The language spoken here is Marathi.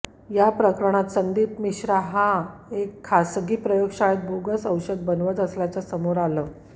या प्रकरणात संदीप मिश्रा हा एका खासगी प्रयोगशाळेत बोगस औषध बनवत असल्याचं समोर आलं